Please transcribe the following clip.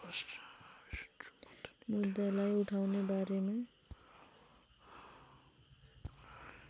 मुद्दालाई उठाउने बारेमा